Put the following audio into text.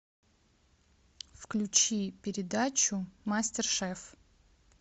включи передачу мастер шеф